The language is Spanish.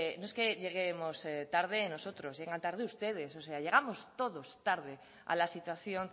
no es que lleguemos tarde nosotros es que llegan tarde ustedes o sea llegamos todos tarde a la situación